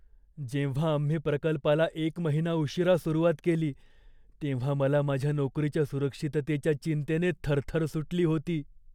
जेव्हा आम्ही प्रकल्पाला एक महिना उशीरा सुरुवात केली तेव्हा मला माझ्या नोकरीच्या सुरक्षिततेच्या चिंतेने थरथर सुटली होती.